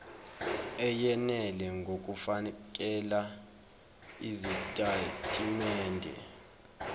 eyenele ngokufakela izitatimende